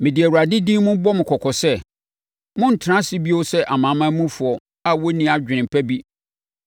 Mede Awurade din bɔ mo kɔkɔ sɛ, monntena ase bio sɛ amanamanmufoɔ a wɔnni adwene pa bi,